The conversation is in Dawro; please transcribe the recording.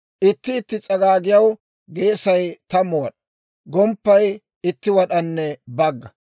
Itti itti s'agaagiyaw geesay tammu wad'aa; gomppay itti wad'anne bagga.